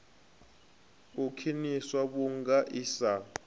u khwiniswa vhunga i sa